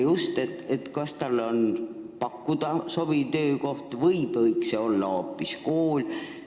Kust tuleb teadmine, kas talle peaks pakkuma sobivat töökohta või võiks see olla hoopis kool?